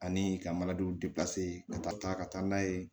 Ani ka ka taa ka taa n'a ye